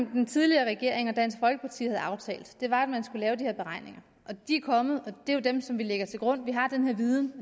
den tidligere regering og dansk folkeparti havde aftalt var at man skulle lave de her beregninger de er kommet og det er jo dem som vi lægger til grund vi har den her viden